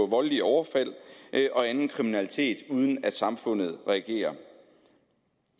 voldelige overfald og anden kriminalitet uden at samfundet reagerer